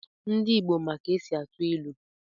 Ndi Igbo ma ka e si atụ ilu.